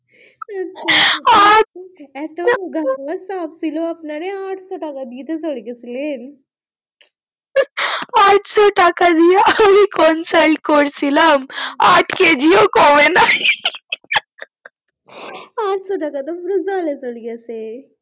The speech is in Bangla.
ভাবছিলো আপনারে আটশো টাকা দিয়ে কোই গেছিলেন আটশো টাকা দিয়া আমি consult করেছিলাম আট কেজি ও কমে নাই আটশো টাকা টা পুরো জলে চলে গেছে